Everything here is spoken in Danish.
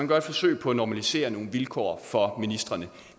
gør et forsøg på at normalisere nogle vilkår for ministrene